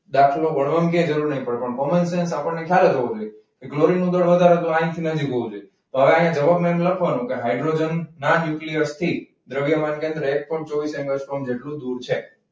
દાખલો ગણવાની ક્યાં જરૂર નહિ પડે પણ કોમનસેન્સ આપણને ખ્યાલ જ હોવો જોઈએ. તો ક્લોરીનનું દળ વધારે તો અહીંથી હોવું જોઈએ તો અહીંયા જવાબમાં આપણે લખવાનું કે હાઇડ્રોજન ના ન્યુક્લિયસ થી દ્રવ્યમાન કેન્દ્ર એક પોઈન્ટ ચોવીસ એંગસ્ટ્રોમ જેટલું દૂર છે.